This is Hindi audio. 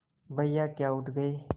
भैया क्या उठ गये